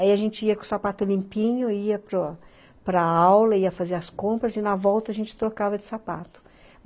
Aí a gente ia com o sapato limpinho, ia para para aula, ia fazer as compras e na volta a gente trocava de sapato.